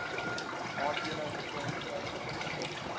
aandele ton druiwe